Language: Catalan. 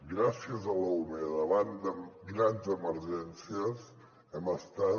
gràcies a l’ume davant de grans emergències hem estat